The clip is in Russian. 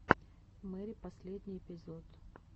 мэри последний эпизод